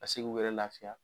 Ka se k'u yɛrɛ laafiya.